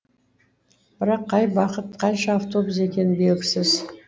бірақ қай бағыт қанша автобус екені белгісіз